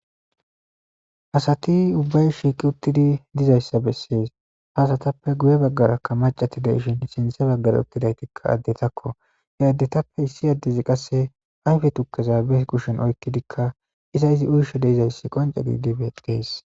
Asati ubbay shiiqi uttidi dizayssa bessees. Ha asatappe guye baggarakka maccati de7ishin sinthe baggara uttidaytikka addetakko. He addetappe issi addezi qasse ayfe tukkeza be kushen oyqqidikka iza izi uysho de7izayssi qonce gididi beettees.